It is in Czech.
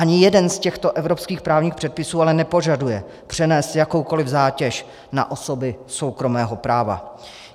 Ani jeden z těchto evropských právních předpisů ale nepožaduje přenést jakoukoli zátěž na osoby soukromého práva.